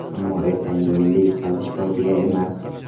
Ammo ertangi o‘yinda yutqazish fojia emas.